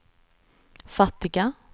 fattiga